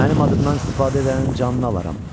Mənim adımdan istifadə edənin canını alaram.